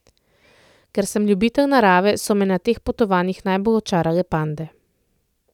Ker sem ljubitelj narave, so me na teh potovanjih najbolj očarale pande.